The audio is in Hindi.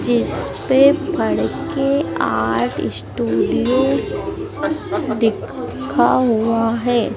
जिसपे फड़के आर्ट स्टूडियो दिखा हुआ है।